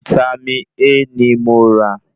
Vítámì A ní mo rà